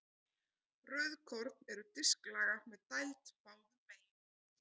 Rauðkorn eru disklaga með dæld báðum megin.